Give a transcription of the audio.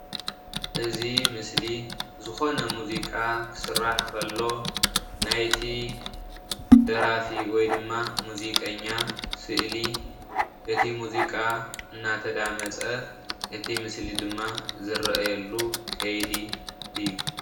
እዚ ምስሊ ዝኾነ ሙዚቃ ክስራሕ ከሎ ናይቲ ደራፊ ወይ ድማ ሙዚቀኛ ስእሊ እቲ ሙዚቃ እናተዳመጸ እቲ ምስሊ ድማ ዝረኣየሉ ከይዲ እዩ።